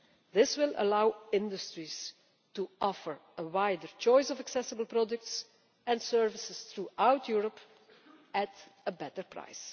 This will allow industries to offer a wider choice of accessible products and services throughout Europe at a better price.